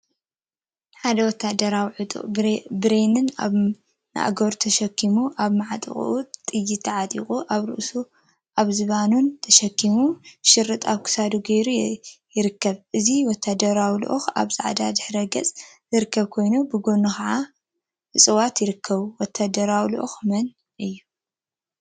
ሓደ ወታደራዊ ዕጡቅ ብሬን አብ ማእገሩ ተሸኪሙ፣ አብ ማዕጥቁ ጥይት ተዓጢቁ፣ አብ ርእሱን አብ ዝባኑን ተሸኪሙ፣ ሸሪጥ አብ ክሳዱ ገይሩ ይርከብ፡፡ እዚ ወታደራዊ ልኡክ አብ ፃዕዳ ድሕረ ገፅ ዝርከብ ኮይኑ ብጎኑ ከዓ እፅዋት ይርከቡ፡፡ ወታደራዊ ልኡክ መን እዩ?